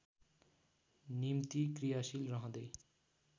निम्ति क्रियाशील रहँदै